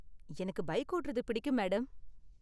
எனக்கு பைக் ஓட்டறது பிடிக்கும், மேடம்.